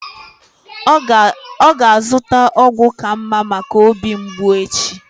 Ọ ga-azụta ọgwụ ka mma maka obi mgbụ echi.